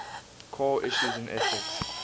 core issues in ethics